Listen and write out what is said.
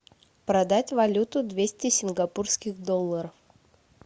продать валюту двести сингапурских долларов